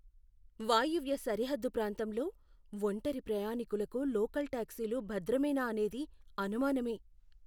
వాయువ్య సరిహద్దు ప్రాంతంలో ఒంటరి ప్రయాణికులకు లోకల్ టాక్సీలు భద్రమేనా అనేది అనుమానమే.